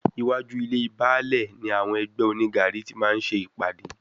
Iwájú ilée Baálè ni àwọn ẹgbẹ́ onígaàrí ti máa ń ṣe ìpàdé.